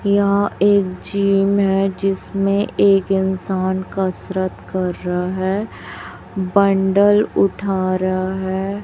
यह एक जिम है जिसमें एक इंसान कसरत कर रहा है बंडल उठा रहा है।